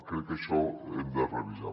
crec que això ho hem de revisar